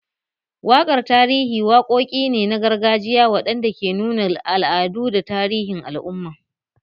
Waƙar tarihi waƙoƙi ne na gargajiya waɗanda ke nuna al'adu da tarihin al'umman